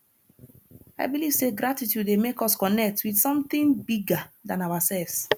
i believe say gratitude dey make us connect with something bigger than ourselves